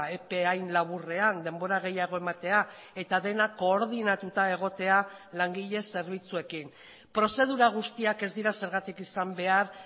epe hain laburrean denbora gehiago ematea eta dena koordinatuta egotea langile zerbitzuekin prozedura guztiak ez dira zergatik izan behar